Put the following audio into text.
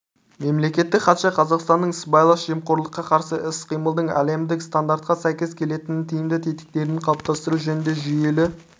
мемлекеттік хатшы қазақстанның сыбайлас жемқорлыққа қарсы іс-қимылдың әлемдік стандарттарға сәйкес келетін тиімді тетіктерін қалыптастыру жөнінде жүйелі